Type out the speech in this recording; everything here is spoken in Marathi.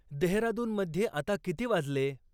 देहरादून मध्ये आता किती वाजले ?